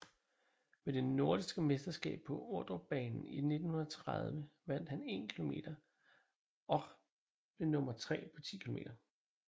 Ved det Nordiske Mesterskab på Ordrupbanen i 1930 vandt han 1km och blev nummer tre på 10km